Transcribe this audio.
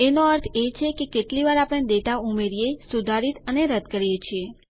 એનો અર્થ એ છે કે કેટલી વાર આપણે ડેટા ઉમેરીએ સુધારિત અથવા રદ્દ કરીએ છીએ